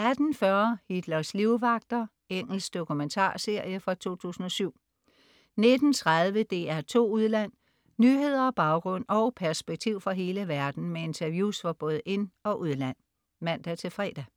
18.40 Hitlers livvagter. Engelsk dokumentarserie fra 2007 19.30 DR2 Udland. Nyheder, baggrund og perspektiv fra hele verden med interviews fra både ind- og udland (man-fre)